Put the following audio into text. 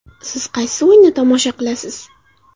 Siz qaysi o‘yinni tomosha qilasiz?.